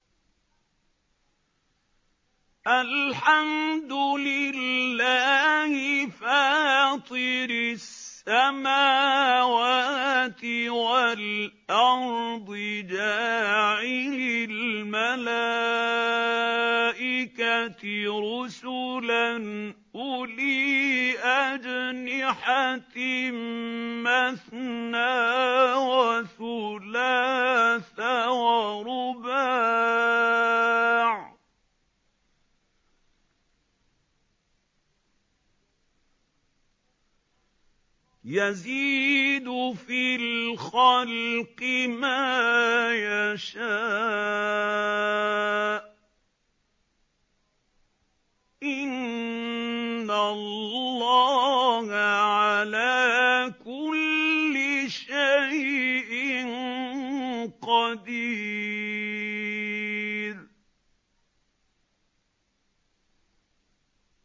الْحَمْدُ لِلَّهِ فَاطِرِ السَّمَاوَاتِ وَالْأَرْضِ جَاعِلِ الْمَلَائِكَةِ رُسُلًا أُولِي أَجْنِحَةٍ مَّثْنَىٰ وَثُلَاثَ وَرُبَاعَ ۚ يَزِيدُ فِي الْخَلْقِ مَا يَشَاءُ ۚ إِنَّ اللَّهَ عَلَىٰ كُلِّ شَيْءٍ قَدِيرٌ